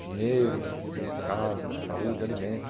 Dinheiro, casa, saúde, alimento.